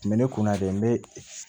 N bɛ ne kun na de n bɛ